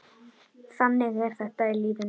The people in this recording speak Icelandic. Þannig er þetta í lífinu.